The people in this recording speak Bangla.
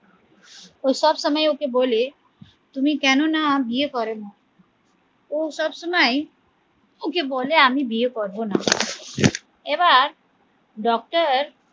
ও সব সময় ওকে বলে তুমি কেননা বিয়ে করনা ও সব সময় ওকে বলে আমি বিয়ে করবো না এবার doctor